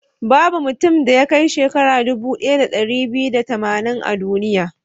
Babu mutumin da ya kai shekara dubu ɗaya da ɗari biyu da tamanin a duniya.